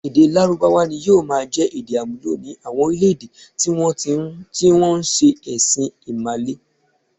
Èdè Lárúbáwá ni yóò máa jẹ èdè-àmúlò ní àwọn orílẹ̀-èdè tí wọ́n ń se ẹ̀sìn Ìmàle.